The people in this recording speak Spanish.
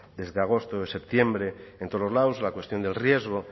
desde agosto septiembre en todos los lados la cuestión del riesgo